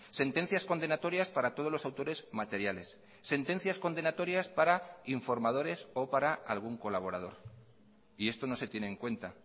sentencias condenatorias para todos los autores materiales sentencias condenatorias para informadores o para algún colaborador y esto no se tiene en cuenta